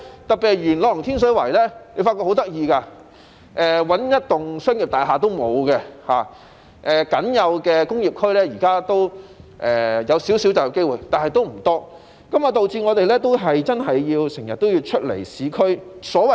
特別是元朗和天水圍的情況很有趣，那裏一幢商業大廈也沒有，現時僅有的工業區提供少許就業機會，但為數不多，導致市民經常要前往市區上班。